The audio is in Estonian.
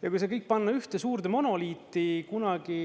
Ja kui see kõik panna ühte suurde monoliiti, kunagi